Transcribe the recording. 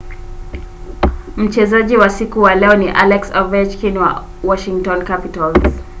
mchezaji wa siku wa leo ni alex ovechkin wa washington capitals